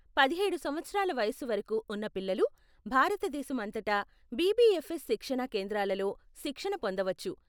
పదిహేడు సంవత్సరాల వయస్సు వరకు ఉన్న పిల్లలు భారతదేశం అంతటా బిబిఎఫ్ఎస్ శిక్షణా కేంద్రాలలో శిక్షణ పొందవచ్చు.